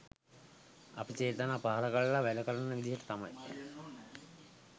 අපි චේතනා පහළ කරලා වැඩකරන විදිහට තමයි